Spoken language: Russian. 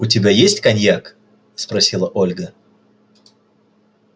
у тебя есть коньяк спросила ольга